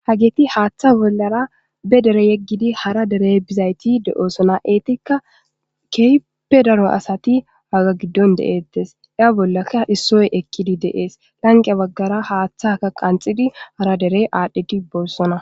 ha geeti haaththa bollara be dere yeggidi hara derey bizayti de7oosona eetikka keype daro asati waga giddon de7ettes ya bollaka issoy ekkidi deees lanqe baggara haaththaka qanxidi hara derey aadhdhidi boossona